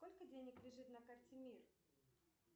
сколько денег лежит на карте мир